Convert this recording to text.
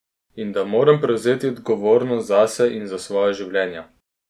In da moramo prevzeti odgovornost zase in za svoja življenja.